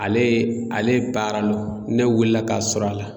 Ale ale baaranɔ ne wulila k'a sɔr'a la.